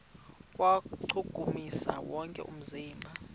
kuwuchukumisa wonke umzimba